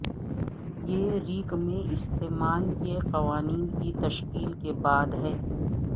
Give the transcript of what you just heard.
یہ ریک میں استعمال کے قوانین کی تشکیل کے بعد ہے